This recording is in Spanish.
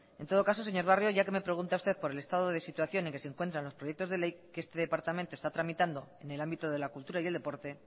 en todo caso señor barrio ya que me pregunta usted por el estado de situación en que se encuentran los proyectos de ley que este departamento está tramitando en el ámbito de la cultura y el deporte